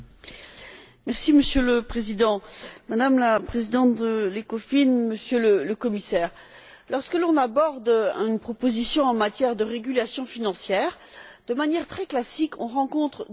Monsieur le Président, Madame la Présidente de l'ECOFIN, Monsieur le Commissaire, lorsque l'on aborde une proposition en matière de régulation financière, de manière très classique, on rencontre deux arguments.